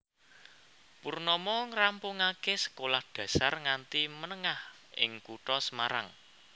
Purnomo ngrampungaké sekolah dasar nganti menengah ing kutha Semarang